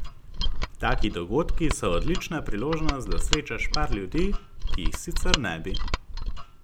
Taki dogodki so odlična priložnost, da srečaš par ljudi, ki jih sicer ne bi.